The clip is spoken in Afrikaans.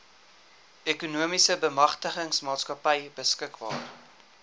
ekonomiese bemagtigingsmaatskappy beskikbaar